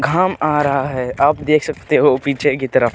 घाम आ रहा है आप देख सकते हो पीछे की तरफ।